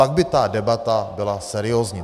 Pak by ta debata byla seriózní.